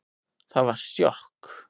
Það var sjokk